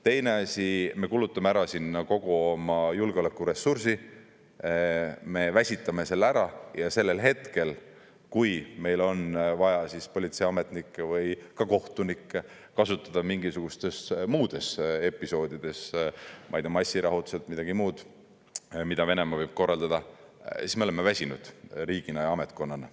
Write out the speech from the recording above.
Teine asi, me kulutame ära sinna kogu oma julgeolekuressursi, me väsitame selle ära, ja sellel hetkel, kui meil on vaja politseiametnikke või ka kohtunikke kasutada mingisugustes muudes episoodides, ma ei tea, massirahutused, midagi muud, mida Venemaa võib korraldada, siis me oleme väsinud riigina ja ametkonnana.